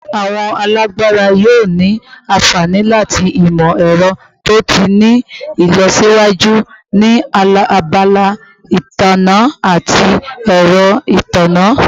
Awọn alabara yoo ni anfani lati imọ-ẹrọ to ti ni ilọsiwaju ni abala itanna ati ẹrọ itanna